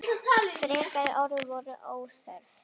Frekari orð voru óþörf.